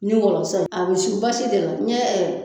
Ni wɔlɔsɔ ye a be su basi de la ɲɛ